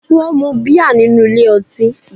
Wón mu bíà nínú ilé ọtí